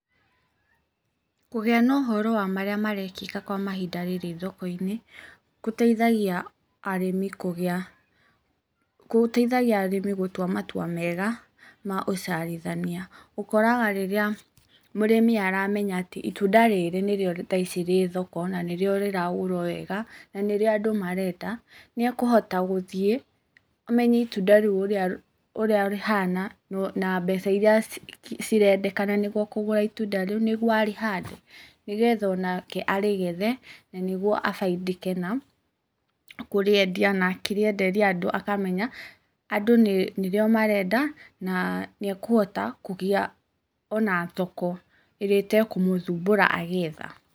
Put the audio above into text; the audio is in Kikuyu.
Kũgĩa na ũhoro wa marĩa marekĩka kwa mahinda rĩrĩ thoko-inĩ, gũtaithagia arĩmi kũgĩa, gũtaithagia arĩmi gũtua matua mega ma ũciarithania. Ũkoraga rĩrĩa mũrĩmi aramenya atĩ itunda rĩrĩ thaa ici nĩrĩo rĩ thoko, na nĩrĩo rĩragũrwo wega, na nĩrĩo andũ marenda, nĩekũhota gũthiĩ, amenye itunda rĩu ũrĩa rĩhana, na mbeca irĩa cirendekena nĩguo kũgũra itunda rĩu, nĩguo arĩhande, nĩgetha onake arĩgethe, nanĩguo abaindike nakũrĩendia na akĩrĩenderia andũ akamenya, andũ nĩrĩo marenda na nĩekũhota kũgĩa ona thoko ĩrĩa ĩtekũmũthumbũra agĩetha.